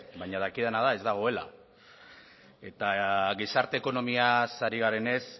baina dakidana da ez dagoela eta gizarte ekonomiaz ari garenez